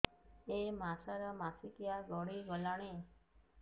ଏଇ ମାସ ର ମାସିକିଆ ଗଡି ଗଲାଣି